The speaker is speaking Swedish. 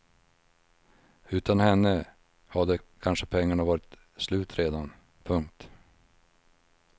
Utan henne hade kanske pengarna varit slut redan. punkt